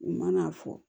U ma n'a fɔ